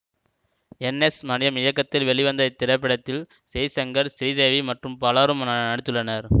என் S Maniyam இயக்கத்தில் வெளிவந்த இத்திரைப்படத்தில் ஜெய்சங்கர் ஸ்ரீதேவி மற்றும் பலரும் நடித்துள்ளனர்